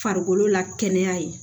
Farikolo lakana ye